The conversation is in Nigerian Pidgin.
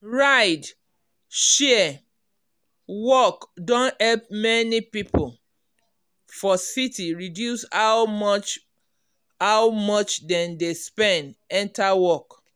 ride-share work don help many people for city reduce how much how much dem dey spend enter work.